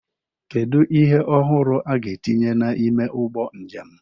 Kedu ihe ọhụrụ a ga-etinye n'ime ụgbọ njem?